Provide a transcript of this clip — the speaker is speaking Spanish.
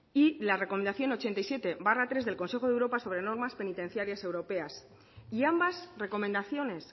y la recomendación ochenta y siete barra tres del consejo de europa sobre normas penitenciarias europeas y ambas recomendaciones